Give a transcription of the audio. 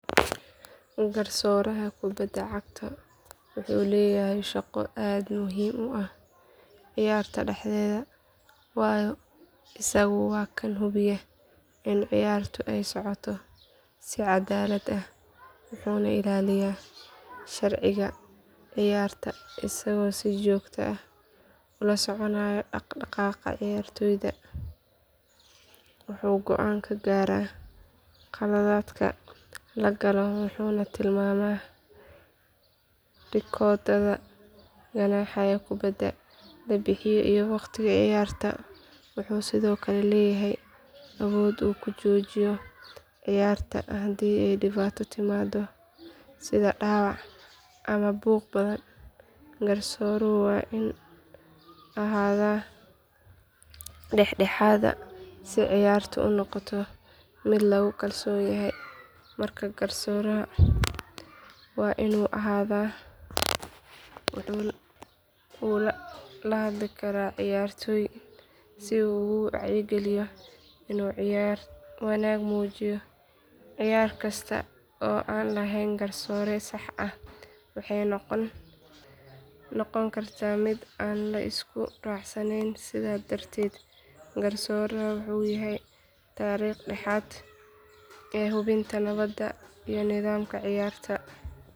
Garsooraha kubadda cagta wuxuu leeyahay shaqo aad u muhiim ah ciyaarta dhexdeeda waayo isagu waa kan hubiya in ciyaarta ay u socoto si cadaalad ah wuxuuna ilaaliyaa sharciga ciyaarta isagoo si joogto ah ula soconaya dhaqdhaqaaqa ciyaartoyda wuxuu go'aan ka gaaraa khaladaadka la galo wuxuuna tilmaamaa rikoodhada ganaaxyada kubbadda la bixiyo iyo waqtiga ciyaarta wuxuu sidoo kale leeyahay awood uu ku joojiyo ciyaarta haddii ay dhibaato timaaddo sida dhaawac ama buuq badan garsooruhu waa inuu ahaadaa dhexdhexaad si ciyaartu u noqoto mid lagu kalsoon yahay marka garsooraha wuu la hadli karaa ciyaartoyda si uu ugu wacyigeliyo inuu ciyaar wanaag muujiyo ciyaar kasta oo aan lahayn garsoore sax ah waxay noqon kartaa mid aan la isku raacsanayn sidaa darteed garsooraha wuxuu yahay tiirka dhexe ee hubinta nabadda iyo nidaamka ciyaarta.